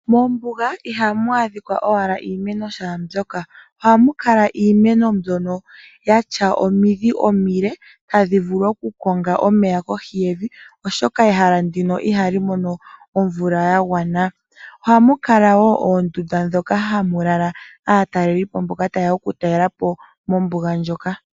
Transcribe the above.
Moombuga ihamu adhika owala iimeno shaa mbyoka. Ohamu kala iimeno mbyono yatya omidhi omile tadhi vulu okukonga omeya kohi yevi, oshoka ehala ndika ihali mono omvula ya gwana. Ohamu kala woo oondunda dhoka hamu lala aatalelipo mboka ta yeya oku talela po mombuga ndjoka.